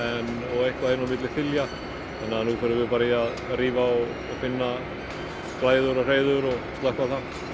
og eitthvað inni á milli þilja þannig að núna förum bara í að rífa og finna glæður og hreiður og slökkva